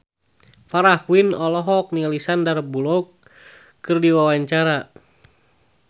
Farah Quinn olohok ningali Sandar Bullock keur diwawancara